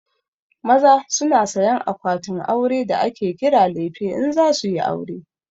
Maza su na sayan akwatin aure da ake kira lefe in za suyi aure